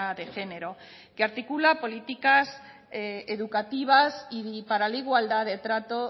de género que articula políticas educativas y para la igualdad de trato